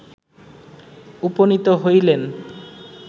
উপনীত হইলেন